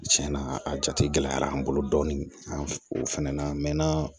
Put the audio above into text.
Tiɲɛ na a jatera an bolo dɔɔnin an fana na a mɛnna